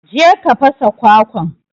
je ka fasa kwakwan.